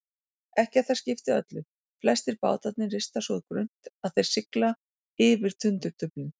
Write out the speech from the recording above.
Ekki að það skipti öllu, flestir bátarnir rista svo grunnt að þeir sigla yfir tundurduflin.